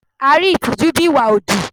A rí ìtìjú bíi ìwà òdì.